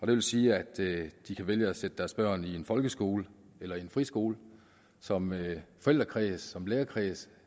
det vil sige at de kan vælge at sætte deres børn i en folkeskole eller i en friskole som forældrekreds som lærerkreds